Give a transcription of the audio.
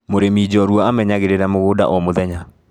Mũrĩmi njorua amenyagĩrĩra mũgunda o mũthenya.